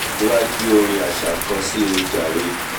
toò kí ng wá gbé orin aṣa kan síi ojàre